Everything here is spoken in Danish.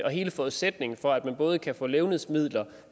er hele forudsætningen for at man både kan få levnedsmidler